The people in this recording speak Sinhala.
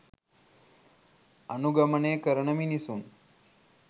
අනුගමනය කරන මිනිසුන්